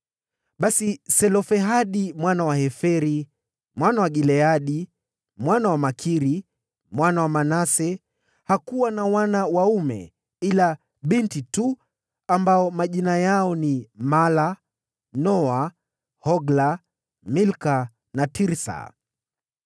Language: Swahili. Basi Selofehadi mwana wa Heferi, mwana wa Gileadi, mwana wa Makiri, mwana wa Manase hakuwa na wana waume ila mabinti tu, ambao majina yao yalikuwa Mahla, Noa, Hogla, Milka na Tirsa.